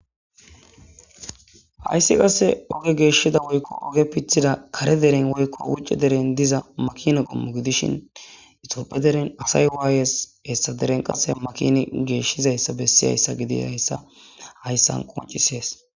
Hayssi qasse oge geeshshida woykko oge pithida kare deren woykko wucce deren diza makina qommu gidishin itopphe deren asay waayes hessa deren qase makini geeshshizayssa bessi hayssa gidi hayssa hayssan qoncisees.